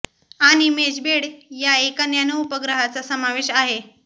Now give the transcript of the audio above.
आणि मेशबेड या एका नॅनो उपग्रहाचा समावेश आहे